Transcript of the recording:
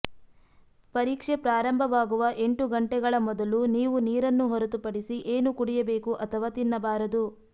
ಪರೀಕ್ಷೆ ಪ್ರಾರಂಭವಾಗುವ ಎಂಟು ಗಂಟೆಗಳ ಮೊದಲು ನೀವು ನೀರನ್ನು ಹೊರತುಪಡಿಸಿ ಏನು ಕುಡಿಯಬೇಕು ಅಥವಾ ತಿನ್ನಬಾರದು